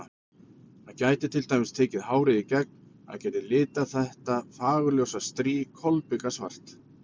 Hann gæti til dæmis tekið hárið í gegn, hann gæti litað þetta fagurljósa strý kolbikasvart.